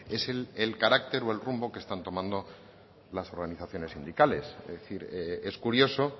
es el carácter o el rumbo que están tomando las organizaciones sindicales es decir es curioso